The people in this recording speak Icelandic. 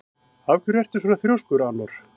Af hverju ertu svona þrjóskur, Anor?